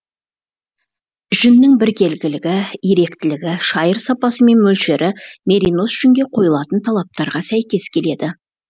жүнінің біркелкілігі иректілігі шайыр сапасы мен мөлшері меринос жүнге қойылатын талаптарға сәйкес келеді